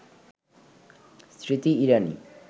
Smriti Irani